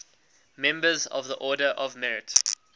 members of the order of merit